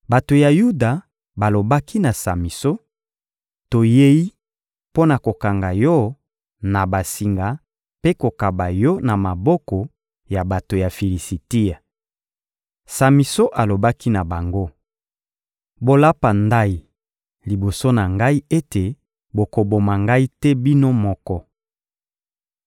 Bato ya Yuda balobaki na Samison: — Toyei mpo na kokanga yo na basinga mpe kokaba yo na maboko ya bato ya Filisitia. Samison alobaki na bango: — Bolapa ndayi liboso na ngai ete bokoboma ngai te bino moko.